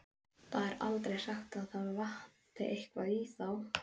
Það er aldrei sagt að það vanti eitthvað í þá.